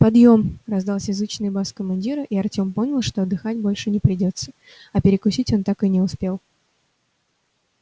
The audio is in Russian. подъём раздался зычный бас командира и артём понял что отдыхать больше не придётся а перекусить он так и не успел